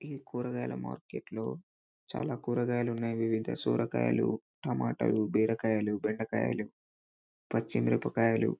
ఈ కూరగాయల మార్కెట్ లో చాల కూరగాయలు ఉన్నాయి సొరకాయలు టమాటాలు బీరకాయలు బెండకాయలు పచ్చి మిరపకాయలు.